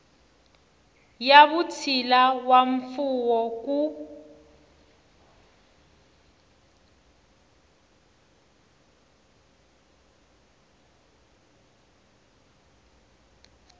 ya vutshila na mfuwo ku